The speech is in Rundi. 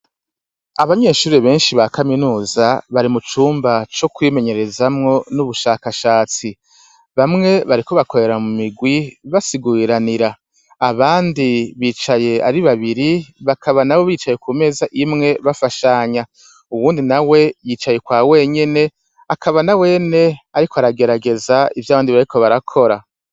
Abanyeshure benshi ba kaminuza bari mu cumba co kwimenyerezamwo n'ubushakashatsi. Bamwe bariko bakorera mu migwi basiguriranira, abandi bicaye ari babiri bakaba nabo bicaye ku meza imwe bafashanya uwundi nawe yicaye kwa wenyene akaba nawene ariko aragerageza ivyo abandi bariko barakora.